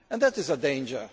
That is a danger.